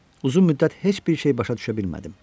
Uzun müddət heç bir şey başa düşə bilmədim.